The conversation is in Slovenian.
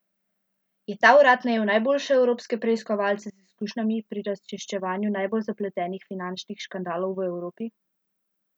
Je ta urad najel najboljše evropske preiskovalce z izkušnjami pri razčiščevanju najbolj zapletenih finančnih škandalov v Evropi?